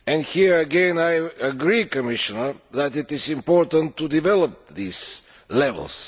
Here again, I agree, Commissioner, that it is important to develop these levels.